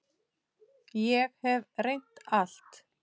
Ég hef reynt allt.